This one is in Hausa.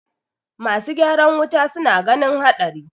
masu ygaran wuta suna ganin haɗari